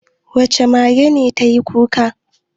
Wace mage ce ta yi kuka?